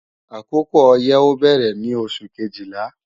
Àkókò ọyẹ́ ó bẹ̀rẹ̀ ní oṣù Kejìlá